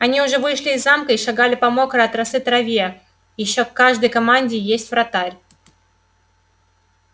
они уже вышли из замка и шагали по мокрой от росы траве ещё в каждой команде есть вратарь